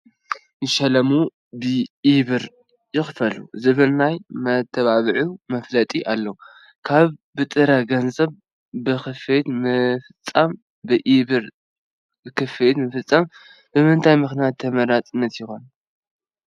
ይሸለሙ ብኢ-ብር ይኽፈሉ ዝብል ናይ መተባብዑ መፋለጢ ኣሎ፡፡ ካብ ብጥረ ገንዘብ ክፍሊት ምፍፃም ብኢ-ብር ክፍሊት ምፍፃም ብምንታይ ምኽንያት ተመራፂ ይኸውን